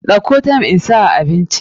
Dauko thyme insa a abinci.